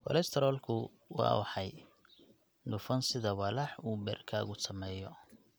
Kolestaroolku waa waxy, dufan sida walax uu beerkaagu sameeyo.